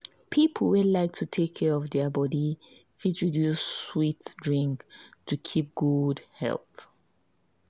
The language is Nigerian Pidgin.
people wey like to take care of their body fit reduce sweet drink to keep good health.